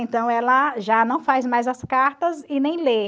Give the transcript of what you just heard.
Então, ela já não faz mais as cartas e nem lê.